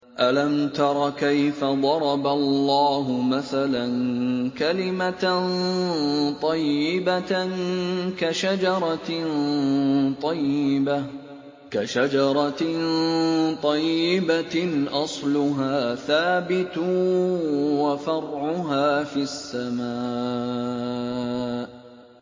أَلَمْ تَرَ كَيْفَ ضَرَبَ اللَّهُ مَثَلًا كَلِمَةً طَيِّبَةً كَشَجَرَةٍ طَيِّبَةٍ أَصْلُهَا ثَابِتٌ وَفَرْعُهَا فِي السَّمَاءِ